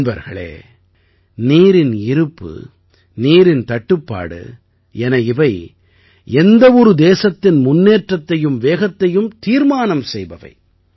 நண்பர்களே நீரின் இருப்பு நீரின் தட்டுப்பாடு என இவை எந்த ஒரு தேசத்தின் முன்னேற்றத்தையும் வேகத்தையும் தீர்மானம் செய்பவை